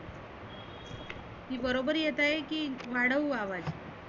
की बरोबर येत आहे की वाढवू आवाज.